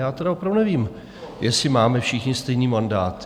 Já tedy opravdu nevím, jestli máme všichni stejný mandát.